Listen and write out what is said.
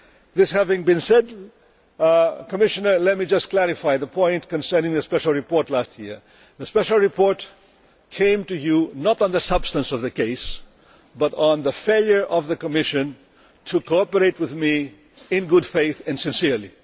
This having been said, Commissioner, let me just clarify the point concerning the special report last year. The special report came to you not because of the substance of the case but because of the failure of the Commission to cooperate with me in good faith and sincerely.